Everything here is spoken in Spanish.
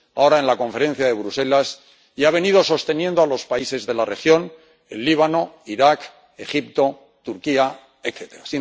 ahora, en la conferencia de Bruselas― y ha venido sosteniendo a los países de la región el Líbano, Irak, Egipto, Turquía, etcétera.